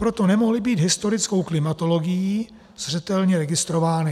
Proto nemohly být historickou klimatologií zřetelně registrovány.